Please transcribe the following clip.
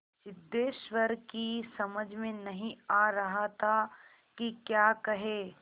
सिद्धेश्वर की समझ में नहीं आ रहा था कि क्या कहे